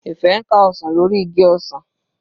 Ife ń ká ọsàn lórí igi ọsàn.